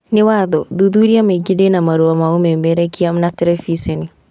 Nĩ watho, thuthuria maingĩ ndĩna marũa ma ũmemerekia na terebiceni